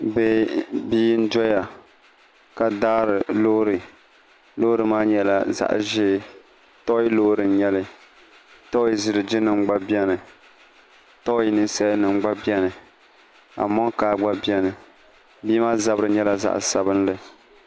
bia n doya ka daari looro loori maa nyɛla zaɣ' ʒee tɔi loori n-nyɛli tɔi ziligi gba beni tɔi ninsalanima gba beni amɔnkaa gba beni bia maa zabiri nyɛla zaɣ' sabinli